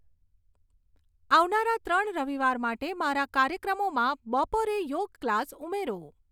આવનારા ત્રણ રવિવાર માટે મારા કાર્યક્રમોમાં બપોરે યોગ ક્લાસ ઉમેરો